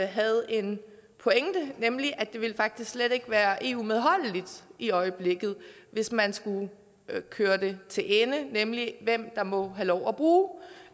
havde en pointe nemlig at det faktisk slet ikke ville være eu medholdeligt i øjeblikket hvis man skulle køre det til ende nemlig hvem der må have lov at bruge